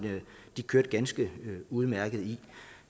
de kørte ganske udmærket i